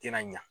Tɛna ɲa